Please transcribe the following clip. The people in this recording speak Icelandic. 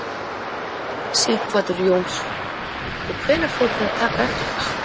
Sighvatur Jónsson: Og hvenær fóruð þið að taka eftir þessu?